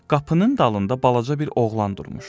Qapının dalında balaca bir oğlan durmuşdu.